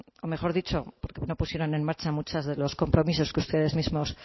o mejor dicho porque no pusieron en marcha muchos de los compromisos que ustedes mismos